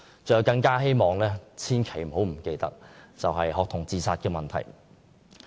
最後，我希望政府不要忽視學童自殺問題。